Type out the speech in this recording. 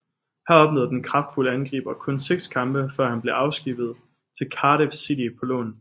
Her opnåede den kraftfulde angriber kun seks kampe før han blev afskibbet til Cardiff City på lån